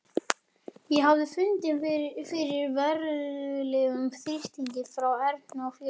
Ég hafði fundið fyrir verulegum þrýstingi frá Erni og félögum.